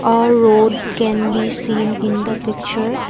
A road can be seen in the picture.